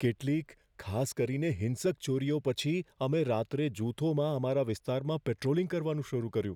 કેટલીક ખાસ કરીને હિંસક ચોરીઓ પછી અમે રાત્રે જૂથોમાં અમારા વિસ્તારમાં પેટ્રોલિંગ કરવાનું શરૂ કર્યું.